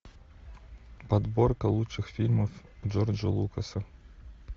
подборка лучших фильмов джорджа лукаса